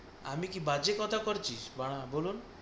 আমি কি বাজে কথা করছিস, বাঁড়া বলুন?